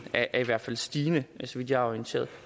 er i hvert fald stigende så vidt jeg er orienteret